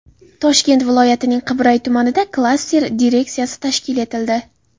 Toshkent viloyatining Qibray tumanida klaster direksiyasi tashkil etildi.